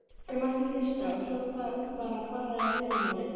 Þeir mættu gista og svo bara fara í fyrramálið.